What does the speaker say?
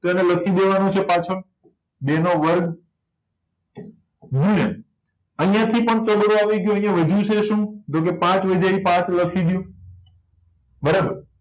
તો એને લખી દેવા નો છે પાછળ બે નો વર્ગ ગુણ્યા ચોગડો આવી ગયો અહિયાં વધ્યું છે શું તો કે પાંચ વધ્ય છે પાંચ લખી દો બરાબર